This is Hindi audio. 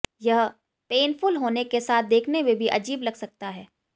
यह पेनफुल होने के साथ देखने में भी अजीब लग सकता है